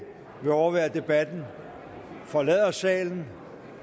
vil overvære debatten forlader salen